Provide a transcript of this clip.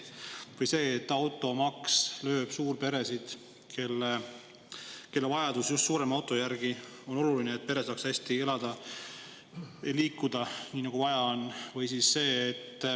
Automaks lööb suurperesid, kellel on vajadus just suurema auto järele, et pere saaks hästi elada, liikuda nii, nagu neil vaja on.